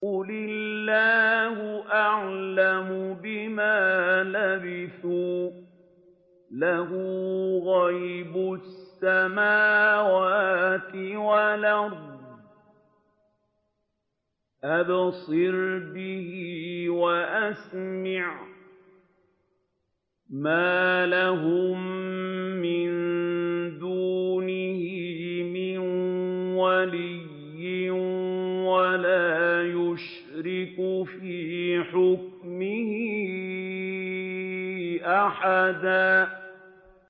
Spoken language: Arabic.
قُلِ اللَّهُ أَعْلَمُ بِمَا لَبِثُوا ۖ لَهُ غَيْبُ السَّمَاوَاتِ وَالْأَرْضِ ۖ أَبْصِرْ بِهِ وَأَسْمِعْ ۚ مَا لَهُم مِّن دُونِهِ مِن وَلِيٍّ وَلَا يُشْرِكُ فِي حُكْمِهِ أَحَدًا